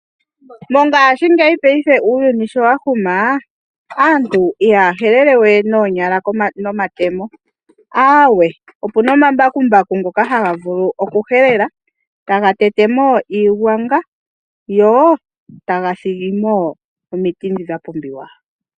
Mongashi ngeyi payife sho uuyuni wa huma aantu ihaya helele we noonyala nomatemo opuna omambakumbaku ngoka haga vulu oku helele taga tete mo iigwanga go taga thigi mo omiti ndhi dha pumbiwa.